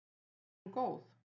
Er hún góð?